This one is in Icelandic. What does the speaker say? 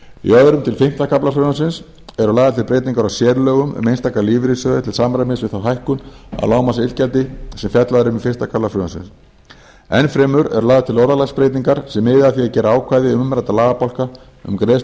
í öðrum til fimmta kafla frumvarpsins eru lagðar til breytingar á sérlögum um einstaka lífeyrissjóði til samræmis við þá hækkun á lágmarksiðgjaldi sem fjallað er um í fyrsta kafla frumvarpsins enn fremur eru lagðar til orðalagsbreytingar sem miða að því að gera ákvæði umræddra lagabálka um greiðslu